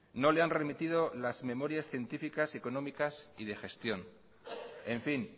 no le han remitido las memorias científicas económicas y de gestión en fin